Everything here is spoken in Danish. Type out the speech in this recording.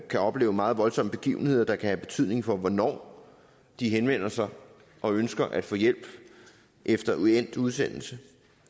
kan opleve meget voldsomme begivenheder der kan have betydning for hvornår de henvender sig og ønsker at få hjælp efter endt udsendelse